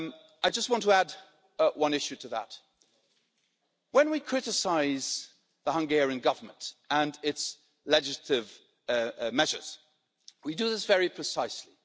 I just want to add one issue to that when we criticise the Hungarian Government and its legislative measures, we do this very precisely.